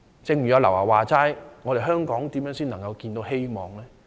正如劉德華所說般，香港如何才能看到希望呢？